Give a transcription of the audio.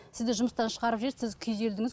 сізді жұмыстан шығарып жіберді сіз күйзелдіңіз